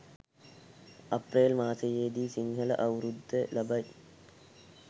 අප්‍රේල් මාසයේදි සිංහල අවුරුද්ද ලබයි.